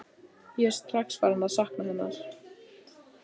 Hann er kjaftfor svo við kefluðum hann.